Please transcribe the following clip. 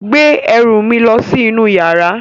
Gbé ẹrù mi lọ sí inú yàrá.